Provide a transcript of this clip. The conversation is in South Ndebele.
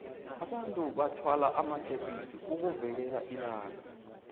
abantu bathwala amakepisi ukuvikela ilanga